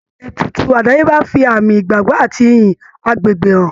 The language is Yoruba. Ètùtù àdáyébá fi àmì ìgbàgbọ́ àti iyì àgbègbè hàn.